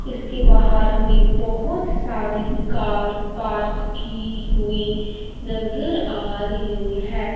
इसके बाहर हमें बहुत सारी कार पार्क की हुई नज़र आ रही है।